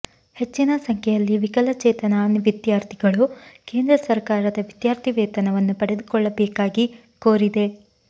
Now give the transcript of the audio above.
ಹೆಚ್ಚಿನ ಸಂಖ್ಯೆಯಲ್ಲಿ ವಿಕಲಚೇತನ ವಿದ್ಯಾರ್ಥಿಗಳು ಕೇಂದ್ರ ಸರ್ಕಾರದ ವಿದ್ಯಾರ್ಥಿ ವೇತನವನ್ನು ಪಡೆದುಕೊಳ್ಳಬೇಕಾಗಿ ಕೋರಿದೆ